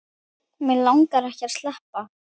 Mig langaði ekki að sleppa.